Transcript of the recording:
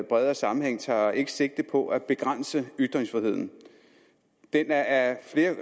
bredere sammenhæng tager ikke sigte på at begrænse ytringsfriheden der er flere